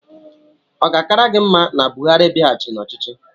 Ọ ga-akara gị mma na Buhari bịaghachịrị n'ọchịchị?